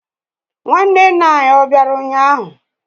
Nwanne nna anyi ó bịara ụnyaahụ?